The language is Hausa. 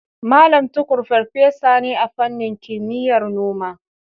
Mallam Tukur farfesa ne a fannin kimiyyar noma.